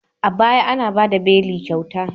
A baya, ana ba da beli kyauta.